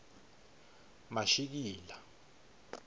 mashikila